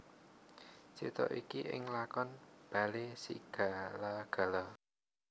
Crita iki ing lakon Balesigalagala